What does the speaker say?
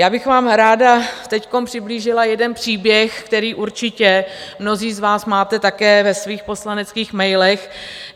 Já bych vám ráda teď přiblížila jeden příběh, který určitě mnozí z vás máte také ve svých poslaneckých mailech.